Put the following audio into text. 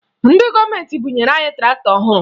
Ndị gọọmenti bunyere anyị traktọ ọhụrụ